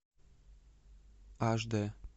аш дэ